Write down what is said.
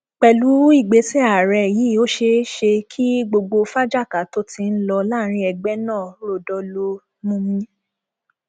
pẹlú ìgbésẹ àárẹ yìí ó ṣeé ṣe kí gbogbo fáakájàá tó ti ń lọ láàrin ẹgbẹ náà ròdo lọọ mumi